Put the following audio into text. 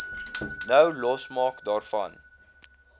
nou losmaak daarvan